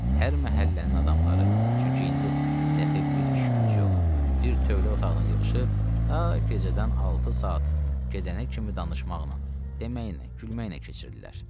Hər məhəllənin adamları, çünki indi daxı bir iş gücü yox, bir tövlə otağına yığışıb ta gecədən altı saat gedənə kimi danışmaqla, deməklə, gülməklə keçirirdilər.